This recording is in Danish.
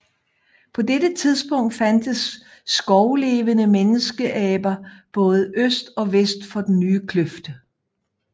På dette tidspunkt fandtes skovlevende menneskeaber både øst og vest for den nye kløft